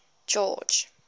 george